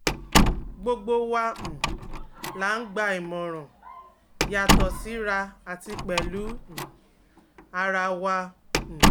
gbogbo wa um la ń gba ìmọ̀ràn, yàtọ̀ síra àti pẹ̀lú um ara wa um